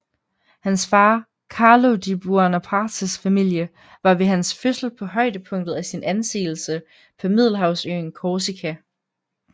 Hans far Carlo di Buonapartes familie var ved hans fødsel på højdepunktet af sin anseelse på middelhavsøen Korsika